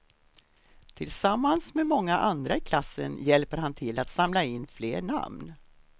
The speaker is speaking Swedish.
Tillsammans med många andra i klassen hjälper han till att samla in fler namn.